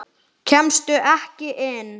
Kemstu ekki inn?